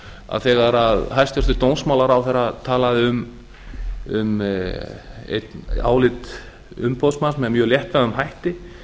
að þegar hæstvirtur dómsmálaráðherra talaði um álit umboðsmanns með mjög léttvægum hætti